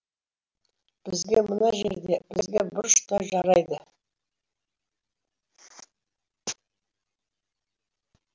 бізге мына жерде бізге бұрыш та жарайды